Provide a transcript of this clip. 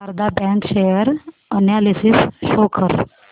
Sharda bank share analysis show कर